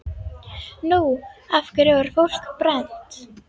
Nú, af hverju var fólk brennt?